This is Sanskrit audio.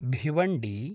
भिवण्डी